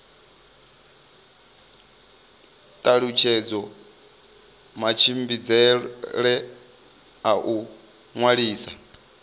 talutshedza matshimbidzele a u ṅwalisa